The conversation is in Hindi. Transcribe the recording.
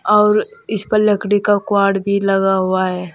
और इस पर लकड़ी का क्वाड भी लगा हुआ है।